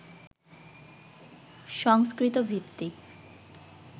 সংস্কৃত ভিত্তিক